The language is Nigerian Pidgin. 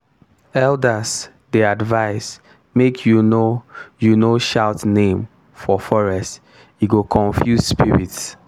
elders dey advise make you no you no shout name for forest e go confuse spirits.